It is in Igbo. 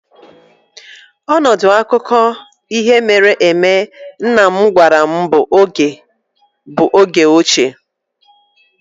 Ọnọdụ akụkọ akụkọ ihe mere eme papa m gwara m bụ oge ochie.